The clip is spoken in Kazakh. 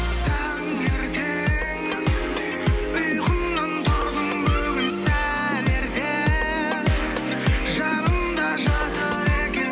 таңертең ұйқымнан тұрдым бүгін сәл ерте жанымда жатыр екен